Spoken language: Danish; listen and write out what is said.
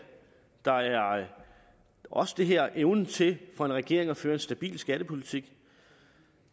der er også det her med evnen til for en regering at føre en stabil skattepolitik